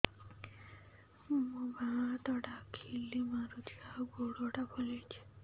ମୋ ବାଆଁ ହାତଟା ଖିଲା ମାରୁଚି ଆଉ ଗୁଡ଼ ଟା ଫୁଲୁଚି